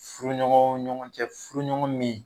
Furuɲɔgɔn ɲɔgɔn cɛ furuɲɔgɔn min